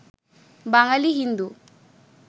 Bangali Hindu